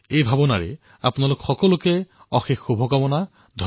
এই ভাৱনাৰ সৈতে আপোনালোক সকলোকে অশেষ শুভকামনা জনাইছোঁ